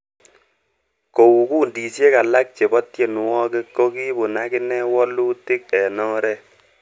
Kou kundisiek alak chebo tienwogik ko kibun agine woluutik en oret.